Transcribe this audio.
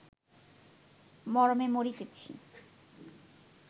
মরমে মরিতেছি